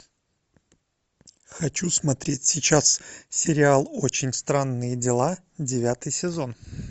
хочу смотреть сейчас сериал очень странные дела девятый сезон